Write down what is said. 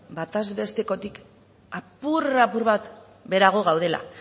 batez bestekotik apur apur bat beherago gaudela